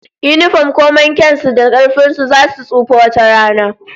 Yinifom komai kyan su da karfin su, zasu tsufa wata rana